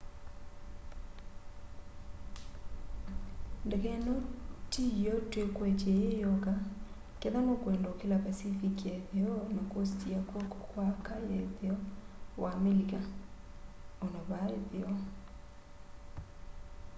ndeke ino tiyo twikwetye yiyoka kethwa nukwenda ukila pacific ya itheo na kosti ya kwoko kwa aka ya itheo wa amelika. ona vaa itheo